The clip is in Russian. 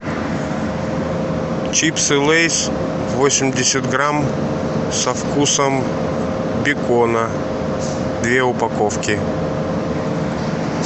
чипсы лейс восемьдесят грамм со вкусом бекона две упаковки